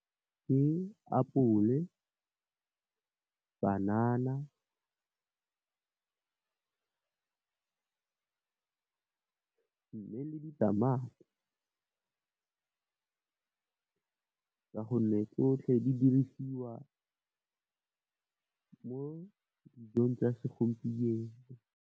Ke apole, banana mme, le ditamati ka gonne, tsotlhe di dirisiwa mo dijong tsa segompieno.